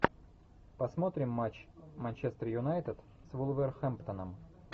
посмотрим матч манчестер юнайтед с вулверхэмптоном